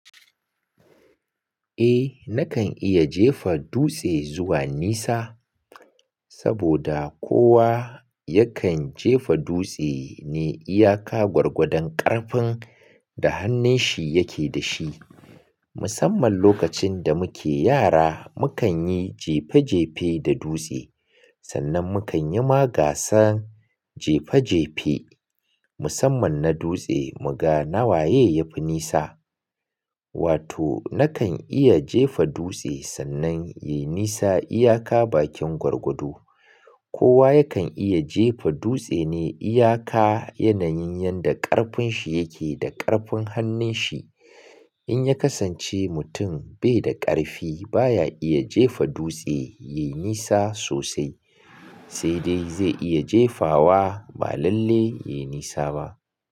Eh nakan iya jefa dutse zuwa nisa saboda kowa yakan jefa dutse ne iyaka gwargwadon ƙarfin da hannun shi yake dashi. Musamman lokacin da muke yara mukan yi jefe jefe da dutse, sannan mukan yi magasan jefe jefe musamman na dutse mu ga nawaye yafi nisa. Wato nakan iya jefa dutse sannan yayi nisa iyaka bakin gwargwado. Kowa yakan iya jefa dutse ne iyaka yanayin yanda ƙarfin shi yake da ƙarfin hannun shi. In ya kasance mutum bai da ƙarfi baya iya jefa dutse yai nisa sosai, sai dai zai iya jefawa ba lalle yai nisa ba.